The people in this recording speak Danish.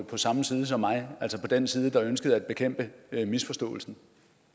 på samme side som mig altså på den side der ønskede at bekæmpe misforståelsen